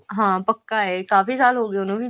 ਹਾਂ ਪੱਕਾ ਹੈ ਕਾਫੀ ਸਾਲ ਹੋਗੇ ਉਹਨੂੰ ਵੀ